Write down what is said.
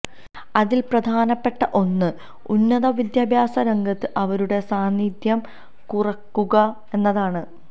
അതിൽ പ്രധാനപ്പെട്ട ഒന്ന് ഉന്നത വിദ്യാഭ്യാസ രംഗത്ത് അവരുടെ സാന്നിധ്യം കുറക്കുക എന്നതാണ്